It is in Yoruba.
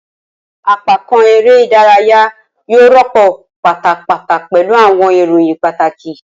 Apakan ere idaraya yoo rọpo patapata pẹlu awọn iroyin pataki.